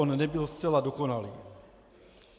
On nebyl zcela dokonalý.